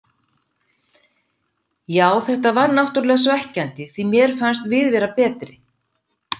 Já þetta var náttúrlega svekkjandi því mér fannst við vera betri.